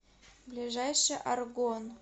ближайший аргон